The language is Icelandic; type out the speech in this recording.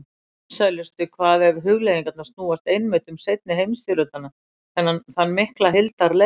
Vinsælustu hvað ef hugleiðingarnar snúast einmitt um seinni heimsstyrjöldina, þann mikla hildarleik.